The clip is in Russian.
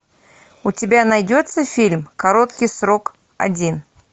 у тебя найдется фильм короткий срок один